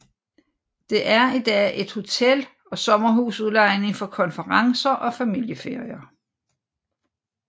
Det er i dag et hotel og sommerhusudlejning for konferencer og familieferier